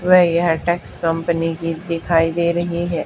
वे यह tax company की दिखाई दे रही है।